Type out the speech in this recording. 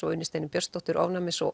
og Unni Steinu Björnsdóttur ofnæmis og